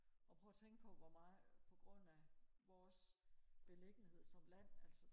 og prøv og tænk på hvor meget på grund af vores beliggenhed som land altså